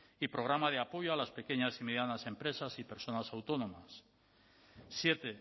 y programa de apoyo a las pequeñas y medianas empresas y personas autónomas siete